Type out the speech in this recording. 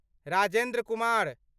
Rajendra Kumar